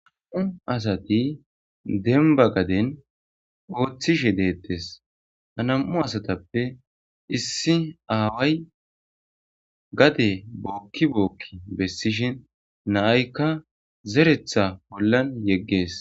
Nam'u asati demba gaden oothishe deetes ha nam'u asatape issi aaway gade booki booki besishen na'ayka zeretha holan yeges.